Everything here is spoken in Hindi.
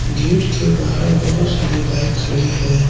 गेट के बाहर बहोत सारी बाइक खड़ी है।